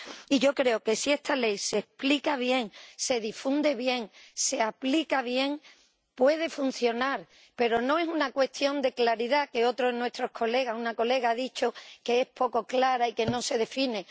Y yo creo que si esta ley se explica bien, se difunde bien, se aplica bien, puede funcionar, pero no es una cuestión de claridad, que otro de nuestros colegas una colega ha dicho que es poco clara y que no se define.